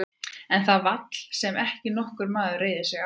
En það er vaðall sem ekki nokkur maður reiðir sig á.